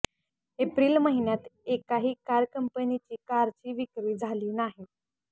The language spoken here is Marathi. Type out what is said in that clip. एप्रिल महिन्यात एकाही कार कंपनीची कारची विक्री झाली नाही